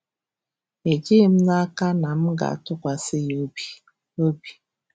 Ejighị m n'aka na m ga-atụkwasị ya obi. ” obi. ”